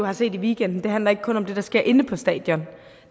har set i weekenden handler ikke kun om det der sker inde på stadion